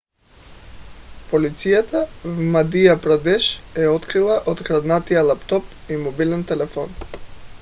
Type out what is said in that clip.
полицията в мадия прадеш е открила откраднатия лаптоп и мобилен телефон